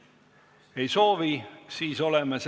Ma meenutan lühidalt, mis seda arupärimist esitama ajendas.